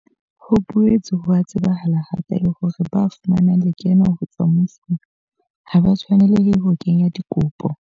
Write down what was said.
Ho boetse ho a tsebahala hape le hore ba fumanang lekeno ho tswa mmusong ha ba tshwanelehe ho kenya dikopo.